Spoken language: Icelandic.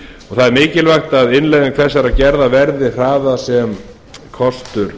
það er mikilvægt að innleiðingu þessar gerða verði hraðað sem kostur